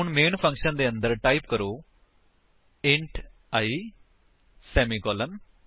ਹੁਣ main function ਦੇ ਅੰਦਰ ਟਾਈਪ ਕਰੋ ਇੰਟ i ਸੇਮੀਕੋਲਨ